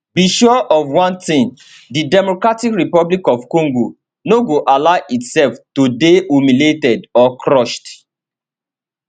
be sure of one thing di democratic republic of congo no go allow itself to dey humiliated or crushed